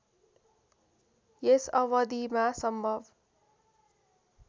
यस अवधिमा सम्भव